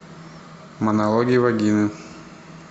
монологи вагины